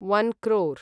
one crore